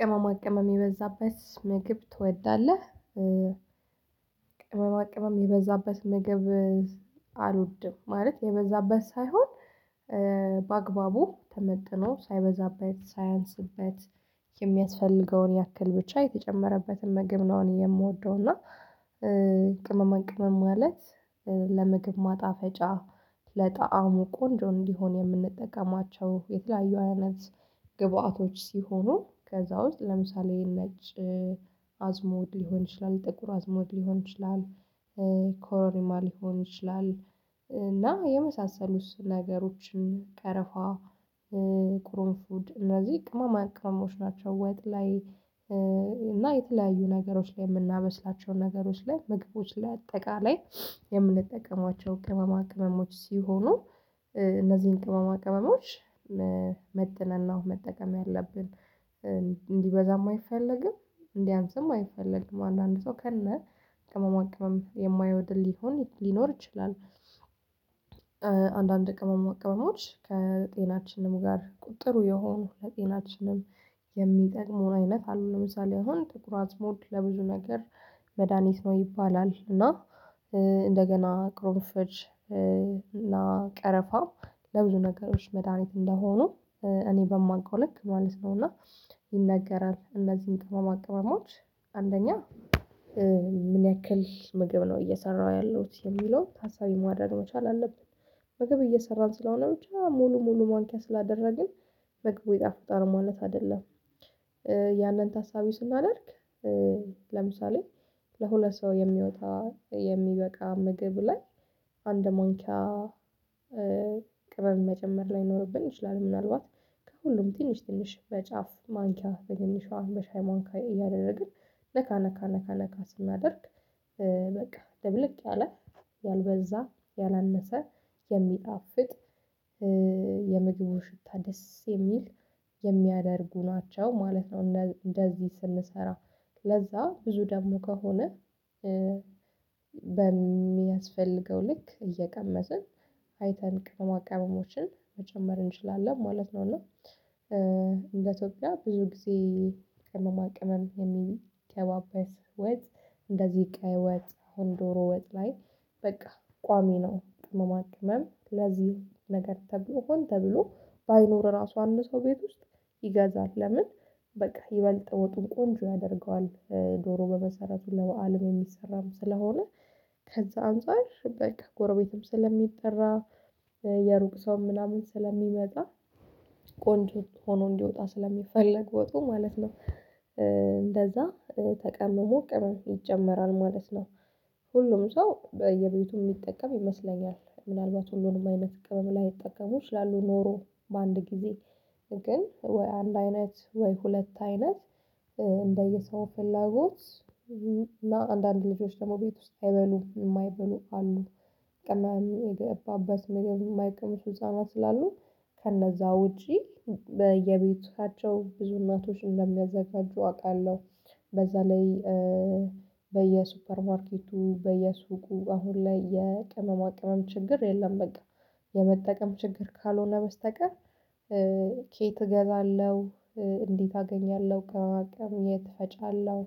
ቅመማ ቅመም የበዛበት ምግብ ትወዳለህ? ቅመማ ቅመም የበዛበት ምግብ አልወድም ማለት የበዛበት ሳይሆን በአግባቡ ተመጥኖ ሳይበዛበት ሳያንስበት የሚያስፈልገውን ያክል ብቻ የተጨመረበትን ምግብ ነው። እኔ የምወደው እና። ቅመማ ቅመም ማለት ለምግብ ማጣፈጫ ለጣዕሙ ቆንጆ እንዲሆን የምንጠቀማቸው የተለያዩ አይነት ግብአቶች ሲሆኑ ከዛ ውስጥ ለምሳሌ ነጭ አዝሙድ ሊሆን ይችላል ጥቁር አዝሙድ ሊሆን ይችላል ኮሮሪማ ሊሆን ይችላል እና የመሳሰሉት ነገሮችን ቀረፋ ቁሩምፉድ እነዚህ ቅመማ ቅመሞች ናቸው። ወጥ ላይ እና የተለያዩ ነገሮች ላይ የምናበስላቸው ነገሮች ላይ ምግቦች ላይ አጠቃላይ የምንጠቀማቸው ቅመማ ቅመሞች ሲሆኑ። እነዚህን ቅመማ ቅመሞች መጥነን ነው መጠቀም ያለብን። እንዲበዛም አይፈልግም እንዲያንስም አይፈልግም አንዳንድ ሰው ከነ ቅመማ ቅመም የማይወድ ሊሆን ሊኖር ይችላል። አንዳንድ ቅመማ ቅመሞች ከጤናችንም ጋር ጥሩ የሆኑ ለጤናችንም የሚጠቅሙ አይነት አሉን ለምሳሌ አሁን ጥቁር አዝሙድ ለብዙ ነገር መድሃኒት ነው ይባላል እና። እንደገና ቅርንፉድ እና ቀረፋ ለብዙ ነገሮች መድሃኒት እንደሆኑ እኔ በማውቀው ልክ ማለት ነው። እና ይነገራል እነዚህን ቅመማ ቅመሞች አንደኛ ምን ያክል ምግብ ነው እየሰራሁ ያለሁት የሚለው ታሳቢ ማድረግ መቻል አለብን። ምግብ እየሰራን ስለሆነ ብቻ ሙሉ ሙሉ ማንኪያ ስላደረግን ምግቡ ይጣፍጣል ማለት አይደለም። ያንን ታሳቢ ስናደርግ። ለምሳሌ ለሁለት ሰው የሚወጣ የሚበቃ ምግብ ላይ አንድ ማንኪያ ቅመም መጨመር ላይኖርብን ይችላል ምናልባት ከሁሉም ትንሽ ትንሽ በጫፍ ማንኪያ በትንሿ በሻይ ማንኪያ እያደረግን ነካ ነካ ነካ ነካ ስናደርግ በቃ ደብልቅ ያለ ያልበዛ ያላነሰ የሚጣፍጥ። የምግቡ ሽታ ደስ የሚል የሚያደርጉ ናቸው ማለት ነው። እንደዚህ ስንሰራ ለዛ ብዙ ደግሞ ከሆነ በሚያስፈልገው ልክ እየቀመሰን አይተን ቅመማቅመሞችን መጨመር እንችላለን ማለት ነው። እና እንደ ኢትዮጲያ ብዙ ጊዜ ቅመማ ቅመም። እንደዚህ ቀይ ወጥ አሁን ዶሮ ወጥ ላይ በቃ ቋሚ ነው ቅመማቅመም ለዚህ ነገር ተብሎ ሆኖ ተብሎ ባይኖር ራሱ አንድ ሰው ቤት ውስጥ ይገዛል ለምን በቃ ይበልጥ ወጡን ቆንጆ ያደርገዋል ዶሮ በመሰረቱ ለበአልም የሚሰራም ስለሆነ ከዛ አንፃር በቃ ጎረቤትም ስለሚጠራ የሩቅ ሰው ምናምን ስለሚመጣ ቆንጆ ሆኖ እንዲወጣ ስለሚፈለግ ወጡ ማለት ነው እንደዛ ተቀምሞ ቅመም ይጨመራል ማለት ነው። ሁሉም ሰው በየቤቱ የሚጠቀም ይመስለኛል። ምናልባት ሁሉንም አይነት ቅመም ላይጠቀሙ ኖሮ በአንድ ጊዜ ግን ወይ አንድ አይነት ወይ ሁለት አይነት እንደየሰው ፍላጎት እና አንዳንድ ልጆች ደግሞ ቤት ውስጥ አይበሉም የማይበሉ አሉ። ቅመም የገባበት ምግብ የማይቀምሱ ህፃናት ስላሉ ከነዛ ውጪ በየቤታቸው ብዙ እናቶች እንደሚያዘጋጁ አውቃለሁ። በዛ ላይ በየሱፐር ማርኬቱ በየሱቁ አሁን ላይ የቅመማ ቅመም ችግር የለም። በቃ የመጠቀም ችግር ካልሆነ በስተቀር ከየት እገዛለሁ? እንዴት አገኛለሁ? ከዋቀም የት እፈጫለሁ?